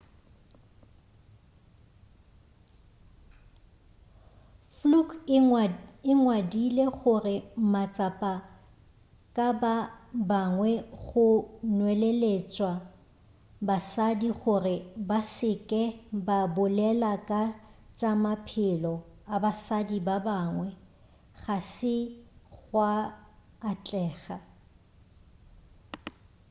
fluke o ngwadile gore matshapa ka ba bangwe go nweleletša basadi gore ba se ke ba bolela ka tša maphelo a basadi ba bangwe ga se gwa atlega